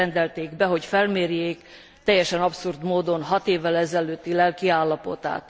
Most rendelték be, hogy felmérjék teljesen abszurd módon hat évvel ezelőtti lelkiállapotát.